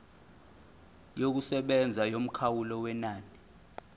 yokusebenza yomkhawulo wenani